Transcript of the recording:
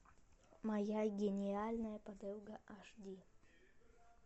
моя гениальная подруга аш ди